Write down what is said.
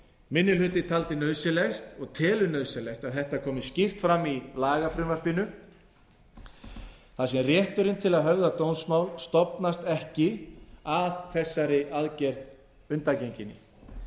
minni hluti taldi nauðsynlegt og telur nauðsynlegt að þetta komi skýrt fram í lagafrumvarpinu þar sem rétturinn til að höfða dómsmál stofnast ekki að þessari aðgerð undangenginni